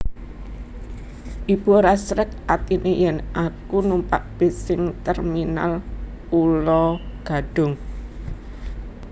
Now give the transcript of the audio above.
Ibu ora srek atine yen aku numpak bis sing Terminal Pulo Gadung